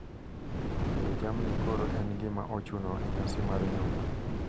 Tero jamni koro en gima ochuno e nyasi mar nyombo.